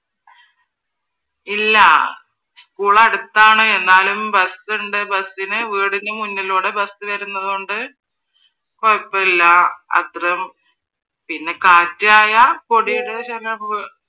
ഇല്ല school അടുത്താണ് എന്നാലും bus ഉണ്ട് bus ന് വീടിന് മുന്നിലൂടെ bus വരുന്നത് കൊണ്ട് കുഴപ്പമില്ല. അത്രേം പിന്നെ കാറ്റായാൽ പൊടിയുടെ ശല്യമാണ്